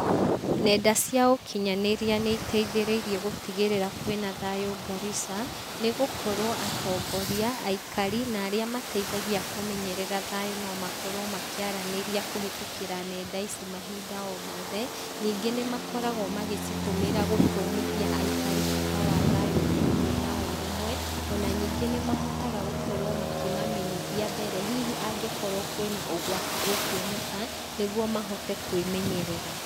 Nenda cia ũkinyanĩria nĩiteithĩrĩirie gũtigĩrĩra kwĩna thayũ Garissa, nĩgũkorwo atongoria, aikari na arĩa mateithagia kũmenyerera thayũ no makorwo makĩaranĩria kũhetũkĩra nenda ici mahinda o mothe, ningĩ nĩmakoragwo magĩcitũmĩra gũthomithia aikari bata wa thayũ na kũgĩa na ũrũmwe, ona ningĩ nĩmahotaga gũkorwo makĩmamenyithia mbere hihi angĩkorwo kwĩna ũgwati ũkuoneka, nĩguo mahote kwĩmenyerera.